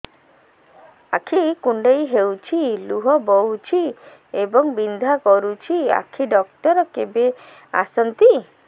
ଆଖି କୁଣ୍ଡେଇ ହେଉଛି ଲୁହ ବହୁଛି ଏବଂ ବିନ୍ଧା କରୁଛି ଆଖି ଡକ୍ଟର କେବେ ଆସନ୍ତି